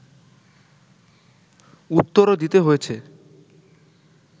উত্তরও দিতে হয়েছে